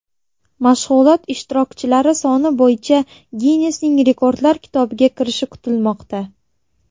Mashg‘ulot ishtirokchilari soni bo‘yicha Ginnesning Rekordlar kitobiga kirishi kutilmoqda.